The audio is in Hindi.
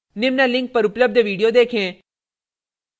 निम्न link पर उपलब्ध video देखें